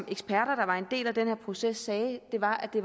eksperter der var en del af den her proces sagde var at det